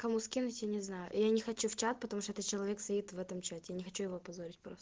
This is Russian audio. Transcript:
кому скинуть я не знаю я не хочу в чат потому что это человек стоит в этом чате я не хочу его позорить просто